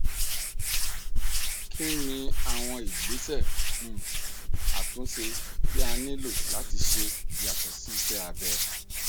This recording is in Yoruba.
kí ni àwọn ìgbésẹ um àtúnṣe tí a nílò láti ṣe yàtọ sí iṣẹ abẹ